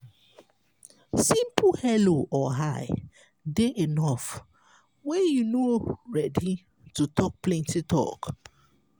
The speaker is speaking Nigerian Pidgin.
simple hello or hi dey enough when you no ready to talk plenty talk